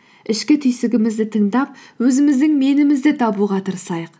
ішкі түйсігімізді тыңдап өзіміздің менімізді табуға тырысайық